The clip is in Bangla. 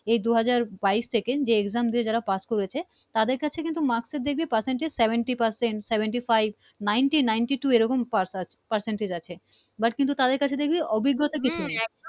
এই দু হাজার বাইশ সেকেন্ড যে Exam দিয়ে যারা পাশ করেছে তাদের কাছে কিন্তু মার্কস দেখবি Percents seventy Percent seventy-five ninety ningty two percentage আছে But তাদের কাছে দেখবি অভিজ্ঞতা কিছু নেই